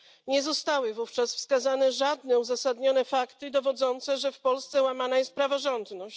Nie zostały wówczas wskazane żadne uzasadnione fakty dowodzące, że w Polsce łamana jest praworządność.